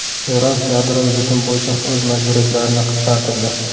Eron yadroviy bitim bo‘yicha o‘z majburiyatlarini qisqartirdi.